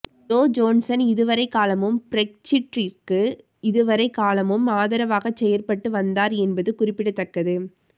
Joe Johnson இதுவரைகாலமும் பிரெக்சிற்றிற்கு இதுவரை காலமும் ஆதரவாக செயற்பட்டு வந்தார் என்பது குறிப்பிடத்தக்கது